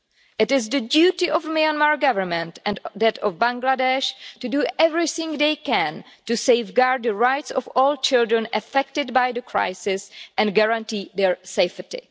It is the duty of the Myanmar Government and that of Bangladesh to do everything they can to safeguard the rights of all children affected by the crisis and to guarantee their safety.